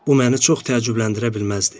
Bu məni çox təəccübləndirə bilməzdi.